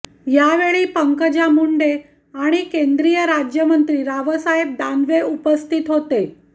यावेळी पंकजा मुंडे आणि केंद्रीय राज्यमंत्री रावसाहेब दानवे उपस्थित होते